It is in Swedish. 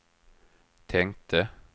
tänkte